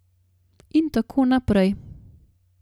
In tako naprej.